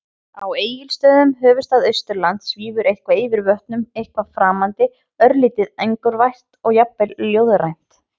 Á Egilsstöðum, höfuðstað Austurlands, svífur eitthvað yfir vötnum- eitthvað framandi, örlítið angurvært og jafnvel ljóðrænt.